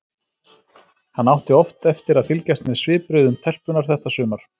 Hann átti oft eftir að fylgjast með svipbrigðum telpunnar þetta sumar.